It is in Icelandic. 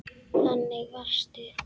Þannig varstu.